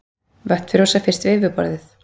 Vötn frjósa fyrst við yfirborðið.